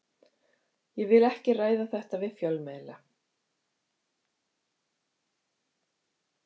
Ég vil ekki ræða þetta við fjölmiðla.